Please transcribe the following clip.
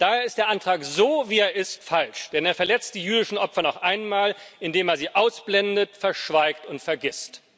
Da ist der Antrag, so wie er ist, falsch, denn er verletzt die jüdischen Opfer noch einmal, indem man sie ausblendet, verschweigt und vergisst.